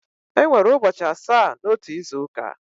Enwere ụbọchị asaa n'otu izu ụka.